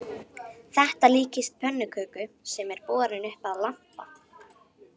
Þetta líkist pönnuköku sem er borin upp að lampa